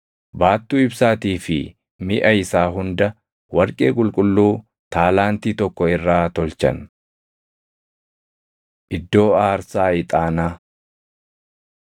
Baattuu ibsaatii fi miʼa isaa hunda warqee qulqulluu taalaantii tokko irraa tolchan. Iddoo Aarsaa Ixaanaa 37:25‑28 kwf – Bau 30:1‑5